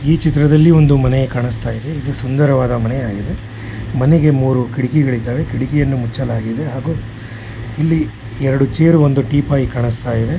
ಈ ಚಿತ್ರದಲ್ಲಿ ಒಂದು ಮನೆ ಕಾಣಿಸ್ತಾ ಇದೆ ಇದು ಒಂದು ಸುಂದರವಾದ ಮನೆ ಆಗಿದೆ. ಮನೆಗೆ ಮೂರು ಕಿಟಕಿಗಳು ಇದಾವೆ ಕಿಟಿಕಿಯನ್ನು ಮುಚ್ಚಲಾಗಿದೆ ಹಾಗು ಇಲ್ಲಿ ಎರಡು ಚೇರ್ ಮತ್ತು ಒಂದು ಟೀ ಪಾಯ್ ಕಾಣಿಸ್ತಾ ಇದೆ.